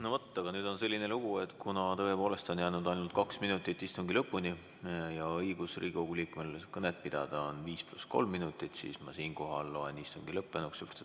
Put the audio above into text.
No vot, aga nüüd on selline lugu, et kuna tõepoolest on jäänud ainult kaks minutit istungi lõpuni ja Riigikogu liikmel on õigus pidada kõnet 5 + 3 minutit, siis ma loen istungi lõppenuks.